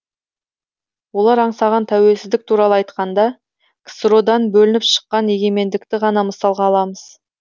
олар аңсаған тәуелсіздік туралы айтқанда ксро дан бөлініп шыққан егемендікті ғана мысалға аламыз